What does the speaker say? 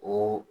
O